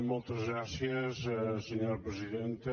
moltes gràcies senyora presidenta